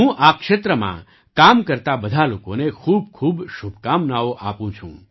હું આ ક્ષેત્રમાં કામ કરતા બધા લોકોને ખૂબખૂબ શુભકામનાઓ આપું છું